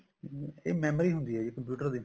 ਹਮ ਇਹ memory ਹੁੰਦੀ ਆ ਜੀ computer ਦੀ